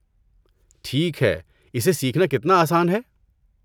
ٹھیک ہے، اسے سیکھنا کتنا آسان ہے؟